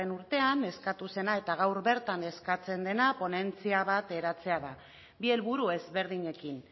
urtean eskatu zena eta gaur bertan eskatzen dena ponentzia bat eratzea da bi helburu ezberdinekin